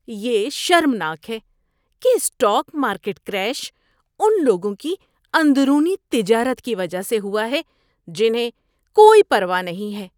یہ شرمناک ہے کہ اسٹاک مارکیٹ کریش ان لوگوں کی اندرونی تجارت کی وجہ سے ہوا ہے جنہیں کوئی پرواہ نہیں ہے۔